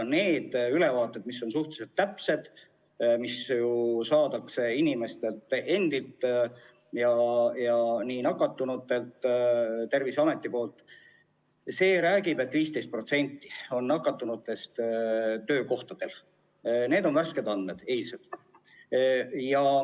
Need ülevaated on suhteliselt täpsed ja need saadakse Terviseametilt ning nende järgi on 15% nakatunutest töökohal – need on värsked, eilsed andmed.